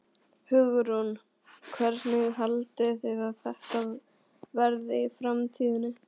Hugrún: Hvernig haldið þið að þetta verði í framtíðinni?